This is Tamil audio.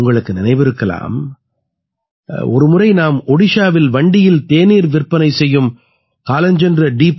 உங்களுக்கு நினைவிருக்கலாம் ஒரு முறை நாம் ஒடிஷாவில் வண்டியில் தேநீர் விற்பனை செய்யும் காலஞ்சென்ற டி